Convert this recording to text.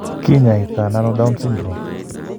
Kiny'aayto nano Down syndrome?